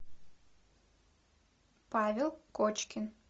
павел кочкин